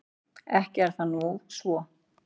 Ekki er það nú svo.